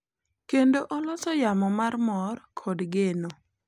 Kendo oloso yamo mar mor kod geno.